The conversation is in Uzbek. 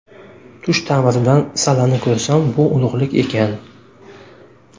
Tush ta’biridan sallani ko‘rsam, bu ulug‘lik ekan.